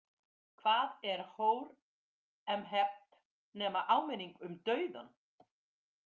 Hvað er Hóremheb nema áminning um dauðann?